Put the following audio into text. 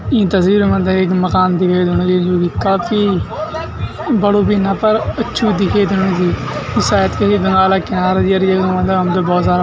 ई तस्वीर मा हमथे एक मकान दिखे देणू च जू की काफी बडो भी ना पर अच्छू दिखे देणू च यु सायद कई दिनों अलग किया अलग अर ये मतलब हमथे भौत सारा --